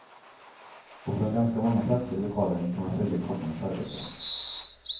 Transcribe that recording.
Och från ganska många platser i lokalen kan man följa kockarnas arbete.